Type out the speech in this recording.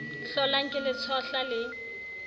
hlolang ke le tshohla le